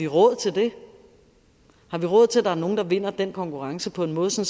råd til det har vi råd til at der er nogle der vinder den konkurrence på en måde så